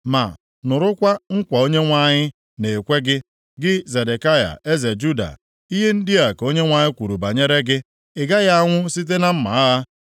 “ ‘Ma nụrụkwa nkwa Onyenwe anyị na-ekwe gị, gị Zedekaya eze Juda. Ihe ndị a ka Onyenwe anyị kwuru banyere gị, Ị gaghị anwụ site na mma agha;